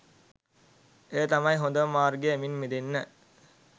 එය තමයි හොඳම මාර්ගය මින් මිදෙන්න.